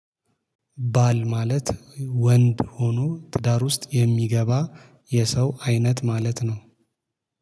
ባል ማለት ወንድ ሆኖ ትዳር ውስጥ የሚገባ የሰው አይነት ማለት ነው።